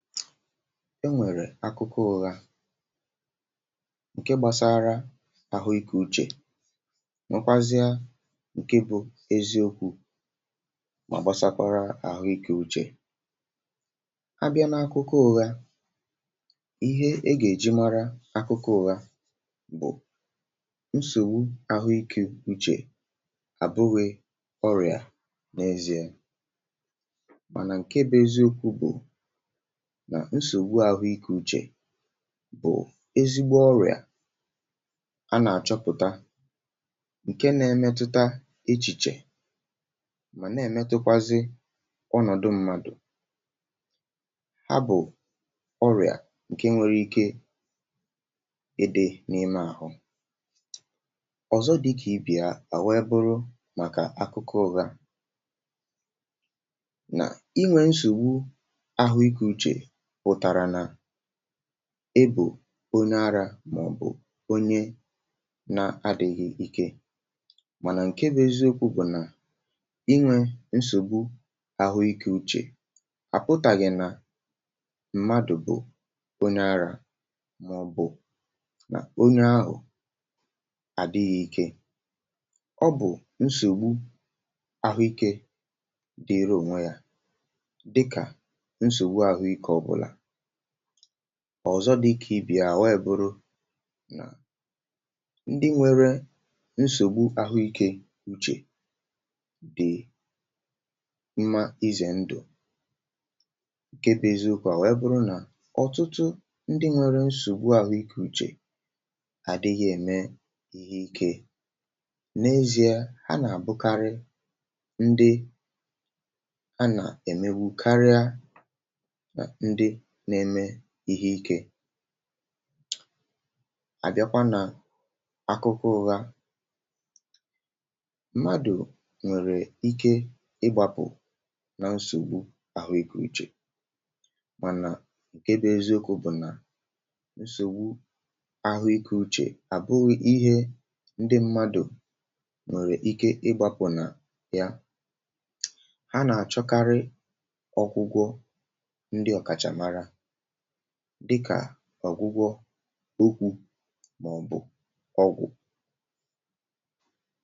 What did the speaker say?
e nwèrè akụkọ ụha nke gbasara àhụ ikė uchè nwekwazịa ǹke bụ̇ eziokwu̇ mà gbasakọrọ àhụ ikė uchè um a bịa n’akụkọ ùha ihe e gà-èji mara akụkọ ụha bụ̀ nsògbu àhụ ikė uchè àbụrị ọrịa n’eziė mànà ǹke bụ̇ eziokwu̇ bụ̀ nà nsògbu àhụikė uchè bụ̀ ezigbo ọrịà a nà-àchọpụ̀ta ǹke na-emetụta echìchè mà na-èmetụkwazị ọnọ̀dụ mmadụ̀ ha bụ̀ ọrịà ǹke nwere ike ede n’ime àhụ ọ̀zọ dịkà ipìa àhụ eburu màkà akụkọ ụga na inwė nsògbu ahụikė uchè ebù onye arȧ màọ̀bụ̀ onye nȧ-ȧdị̀ghị̀ ike mànà ǹke bụ̇ eziokwu̇ bụ̀ nà inwė nsògbu àhụikė uchè àpụtàghị̀ nà mmadụ̀ bụ̀ onye arȧ màọ̀bụ̀ onye ahụ̀ àdịghị̇ ike ọ bụ̀ nsògbu àhụikė dịrụ ònwe yȧ ọ̀zọ dịkà ibì à nwaèbụrụ ndị nwėrė nsògbu àhụ ikė uchè dị̀ mmȧ izè ndụ̀ ǹke bèziụ̇ kà à nwee bụrụ nà ọ̀tụtụ ndị nwėrė nsògbu àhụ ikė uchè àdịghị̇ ème ihe ikė n’ezìe ha nà-àbụkarị ndị ha nà-èmegbu um karịa na-eme ihe ike àbịakwa nà akụkọ ụha mmadụ̀ nwèrè ike ịgbȧpụ̀ nà nsògbu àhụ ikė ichè mànà ǹke bụ eziokwu̇ bụ̀ nà nsògbu àhụ ikė uchè àbụghị ihe ndị mmadụ̀ nwèrè ike ịgbȧpụ̀ nà ya ha nà-àchọkarị ọkụgwọ ọ̀gwụgwọ̇ okwu̇ màọ̀bụ̀ drug.